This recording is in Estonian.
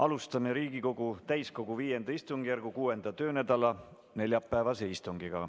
Alustame Riigikogu täiskogu V istungjärgu 6. töönädala neljapäevast istungit.